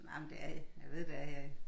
Nej men det er jeg ved der er ja